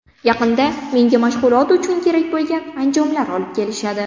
Yaqinda menga mashg‘ulot uchun kerak bo‘lgan anjomlar olib kelishadi.